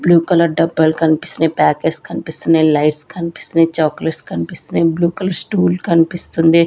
Blue colour డబ్బాలు కనిపిస్తున్నాయి packets కనిపిస్తున్నాయి లైట్స్ కనిపిస్తున్నాయి చాక్లెట్స్ కనిపిస్తున్నాయి బ్లూ కలర్ స్టూల్ కనిపిస్తుంది.